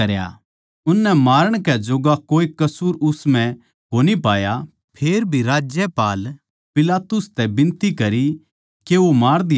उननै मारण कै जोग्गा कोए कसूर उस म्ह कोनी पाया फेरभी राज्यपाल पिलातुस तै बिनती करी के वो मार दिया जावै